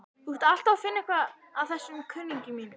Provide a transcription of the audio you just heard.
Þú ert alltaf að finna eitthvað að þessum kunningjum mínum.